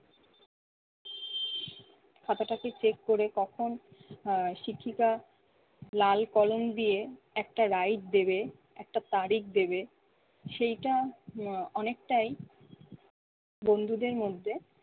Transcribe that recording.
খাতাটাকে check করে কখন আহ শিক্ষিকা লাল কলম দিয়ে একটা right দেবে একটা তারিখ দেবে, সেইটা অনেকটাই বন্ধুদের মধ্যে